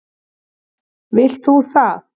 Vilt þú það?